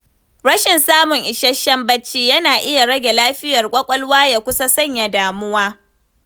Rashin samun isasshen bacci yana iya rage lafiyar ƙwaƙwalwa ya kusa sanya damuwa.